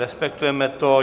Respektujeme to.